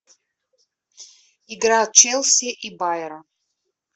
игра челси и байер